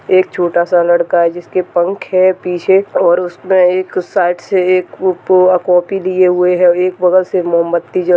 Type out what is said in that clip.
एक छोटा-सा लड़का है जिसके पंख है पीछे और उसने एक साइड से एक कॉपी दिए हुए है एक बगल से मोमबत्ती जल--